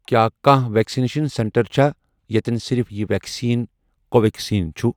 کیٛاہ کانٛہہ vaccination centre چھا یتٮ۪ن صرف یہِ ویکسیٖن کو ویٚکسیٖن چھُ؟